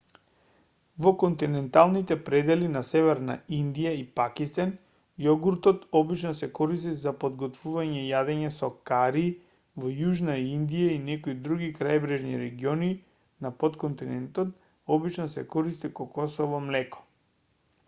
во континенталните предели на северна индија и пакистан јогуртот обично се користи за подготвување јадења со кари во јужна индија и некои други крајбрежни региони на потконтинентот обично се користи кокосово млеко